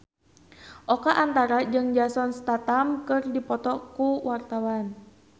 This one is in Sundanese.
Oka Antara jeung Jason Statham keur dipoto ku wartawan